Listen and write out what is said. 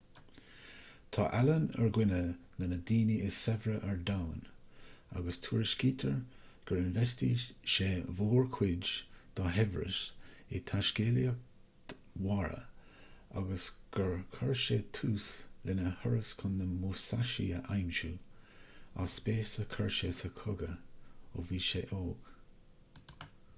tá allen ar dhuine de na daoine is saibhre ar domhan agus tuairiscítear gur infheistigh sé mórchuid dá shaibhreas i dtaiscéalaíocht mhara agus gur chuir sé tús lena thuras chun na musashi a aimsiú as spéis a chuir sé sa chogadh ó bhí sé óg